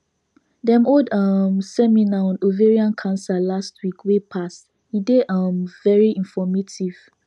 dem hold um seminar on ovarian cancer last week wey pass e dey um very informative